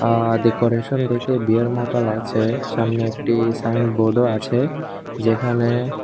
অ্যা decoration দেখে বিয়ের মত লাগছে সামনে একটি সাইনবোর্ড -ও আছে যেখানে--